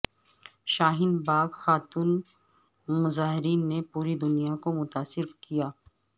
شاہین باغ خاتون مظاہرین نے پوری دنیا کو متاثر کیا